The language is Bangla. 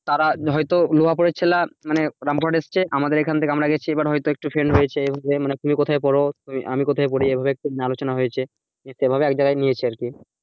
তারা হয়তো বোলপুরের ছেলেরা রামপুরান এসেছে, আমাদের এখান থেকে আমরা গেছি এবার হয়তো একটু friend হয়েছে এভাবে মনে তুমি কোথায় পোড়, আমি কোথায় পড়ি এভাবে একটুখানি আলোচনা হয়েছে সেভাবে এক জায়গায় নিয়েছি আর কি,